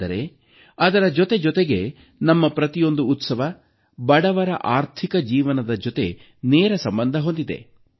ಆದರೆ ಅದರ ಜೊತೆಜೊತೆಗೆ ನಮ್ಮ ಪ್ರತಿಯೊಂದು ಉತ್ಸವ ಬಡವರ ಆರ್ಥಿಕ ಜೀವನದ ಜೊತೆ ನೇರ ಸಂಬಂಧ ಹೊಂದಿದೆ